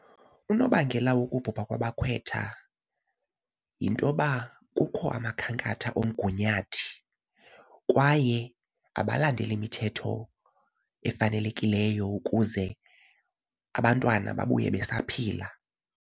Unobangela wokubhubha kwabakhwetha yinto yoba kukho amakhankatha omgunyathi kwaye abalandeli imithetho efanelekileyo ukuze abantwana babuye besaphila.